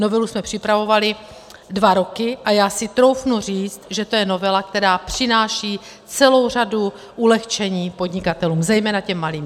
Novelu jsme připravovali dva roky a já si troufnu říct, že je to novela, která přináší celou řadu ulehčení podnikatelům, zejména těm malým.